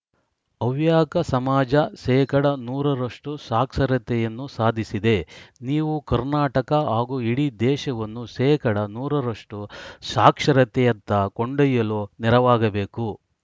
ಹವ್ಯಾಕ ಸಮಾಜ ಶೇಕಡಾ ನೂರ ರಷ್ಟುಸಾಕ್ಷರತೆಯನ್ನು ಸಾಧಿಸಿದೆ ನೀವು ಕರ್ನಾಟಕ ಹಾಗೂ ಇಡೀ ದೇಶವನ್ನು ಶೇಕಡಾ ನೂರ ರಷ್ಟುಸಾಕ್ಷರತೆಯತ್ತ ಕೊಂಡೊಯ್ಯಲು ನೆರವಾಗಬೇಕು